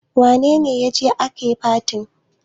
wane waje ake fatin?